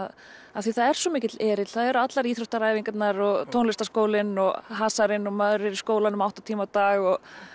af því það er svo mikill erill það eru allar íþróttaæfingarnar og tónlistarskólinn og hasarinn og maður er í skólanum átta tíma á dag